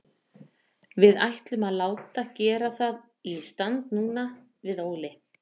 Við ætlum að láta gera það í stand núna, við Óli.